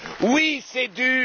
Oui, c'est